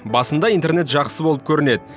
басында интернет жақсы болып көрінеді